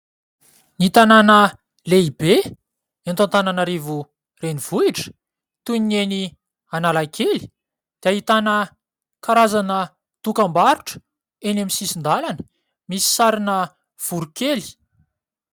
Ny tanàna lehibe eto Antananarivo renivohitra toy ny eny Analakely dia ahitana karazana dokam-barotra eny amin'ny sisin-dalana misy sarina voronkely.